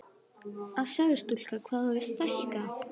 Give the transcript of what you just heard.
Að sjá þig stúlka hvað þú hefur stækkað!